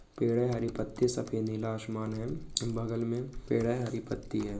पेड़ है हर पत्ति सफेद नीला आसमान है बगल में पेड़ है हरी पत्ति है|